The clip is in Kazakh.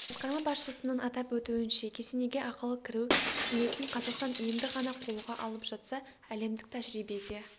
басқарма басшысының атап өтуінше кесенеге ақылы кіру қызметін қазақстан енді ғана қолға алып жатса әлемдік тәжірибеде